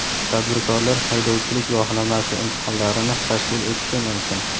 Tadbirkorlar haydovchilik guvohnomasi imtihonlarini tashkil etishi mumkin.